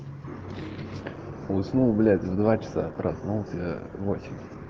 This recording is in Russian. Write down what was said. уснул блять в два часа а проснулся в восемь